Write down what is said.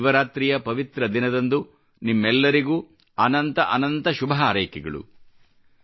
ಈ ಶಿವರಾತ್ರಿಯ ಪವಿತ್ರ ದಿನದಂದು ನಿಮ್ಮೆಲ್ಲರಿಗೂ ಅನಂತ ಅನಂತ ಶುಭ ಹಾರೈಕೆಗಳು